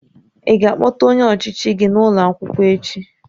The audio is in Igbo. Ị ga-akpọta onye ọchịchị gị n'ụlọ akwụkwọ echi?